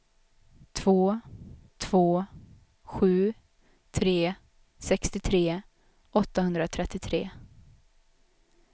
två två sju tre sextiotre åttahundratrettiotre